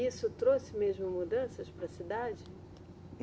E isso trouxe mesmo mudanças para a cidade?